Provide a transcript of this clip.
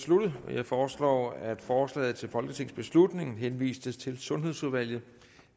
sluttet jeg foreslår at forslaget til folketingsbeslutning henvises til sundhedsudvalget